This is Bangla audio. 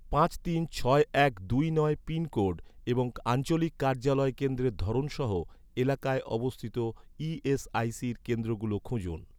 পাঁচ তিন ছয় এক দুই নয় পিনকোড এবং আঞ্চলিক কার্যালয় কেন্দ্রের ধরন সহ এলাকায় অবস্থিত ই.এস.আই.সির কেন্দ্রগুলো খুঁজুন